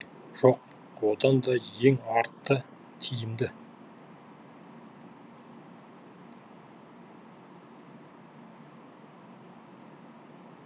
жоқ одан да ең арты тиімді